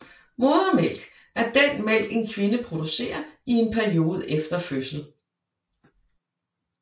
Modermælk er den mælk en kvinde producerer i en periode efter en fødsel